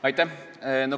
Aitäh!